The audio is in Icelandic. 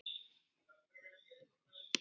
Allir eru glaðir.